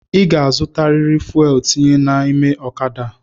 I ga-azutariri fuelu tinye n’ime ọ̣kada a!